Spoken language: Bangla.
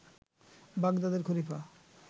বাগদাদের খলিফা